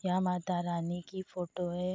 यहाँ मातारानी की फोटो हैं।